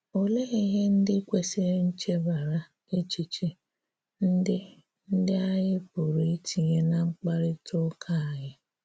Òlee ihè ndị̀ kwesịrị̀ nchèbarà echichè ndị̀ ndị̀ ànyị̀ pụrụ itinyè ná mkparịta ụkà anyị?